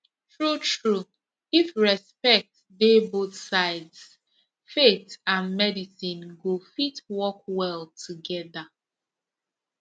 truetrue if respect dey both sides faith and medicine go fit work well together